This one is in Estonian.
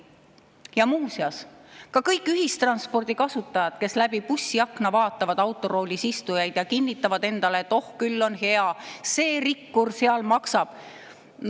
Ja muuseas, ka kõik ühistranspordi kasutajad, kes läbi bussiakna vaatavad autoroolis istujaid ja kinnitavad endale, et oh, küll on hea, see rikkur seal maksab.